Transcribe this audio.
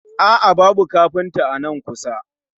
A'a, babu kafinta a nan kusa